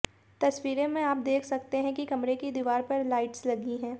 तस्वीरों में आप देख सकते हैं कि कमरे की दीवार पर लाइट्स लगी हैं